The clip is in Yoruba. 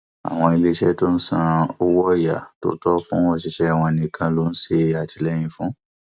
àwọn iléeṣẹ tó ń san owó ọyà tó tọ fún òṣìṣẹ wọn nìkan ni ó ń ṣètìlẹyìn fún